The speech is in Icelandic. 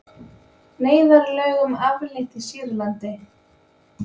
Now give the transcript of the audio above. Neyðarlögum aflétt í Sýrlandi